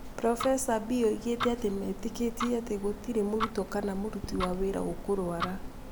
Burobeca Bee oigite atĩ metĩkĩtie atĩ gũtirĩ mũrutwo kana mũruti wa wĩra ũkũrũara